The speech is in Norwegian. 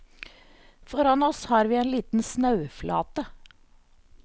Foran oss har vi en liten snauflate.